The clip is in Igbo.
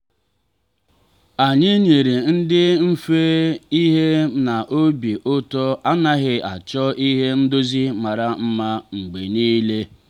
anyị nyere nri dị mfe n'ihi na obi ụtọ anaghị achọ ihe ndozi mara mma mgbe niile.